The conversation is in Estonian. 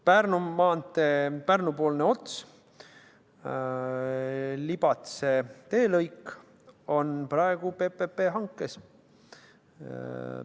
Pärnu maantee Pärnu-poolne ots, Libatse teelõik on praegu PPP hankes.